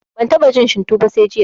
Ban taɓa jin shinto ba sai jiya